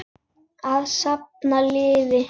Að safna liði!